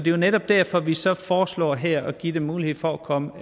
jo netop derfor vi så foreslår her at give dem mulighed for at komme